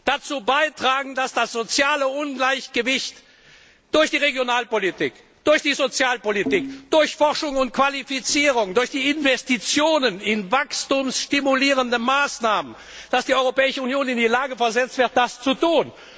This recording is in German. dazu beitragen, dass das soziale Ungleichgewicht durch die Regionalpolitik, durch die Sozialpolitik, durch Forschung und Qualifizierung, durch Investitionen in wachstumsstimulierende Maßnahmen ausgeglichen wird und dass die Europäische Union in die Lage versetzt wird, das zu tun.